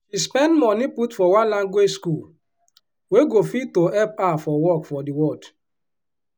she spend moni put for one language school wey go fit to hep her for work for di world.